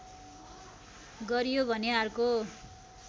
गरियो भने अर्का